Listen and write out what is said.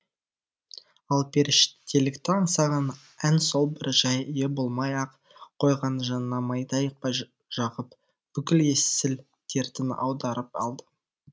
ал періштелікті аңсаған ән сол бір жайы болмай ақ қойған жанына майдай жағып бүкіл есіл дертін аударып алды